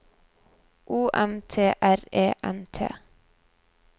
O M T R E N T